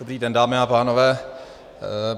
Dobrý den, dámy a pánové.